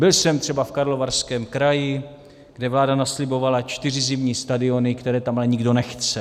Byl jsem třeba v Karlovarském kraji, kde vláda naslibovala čtyři zimní stadiony, které tam ale nikdo nechce.